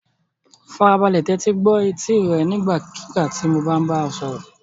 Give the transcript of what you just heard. Farabalẹ̀ tẹ́tí gbọ́ etí rẹ nígbàkigbà tí mo bá bá ọ sọ̀rọ̀.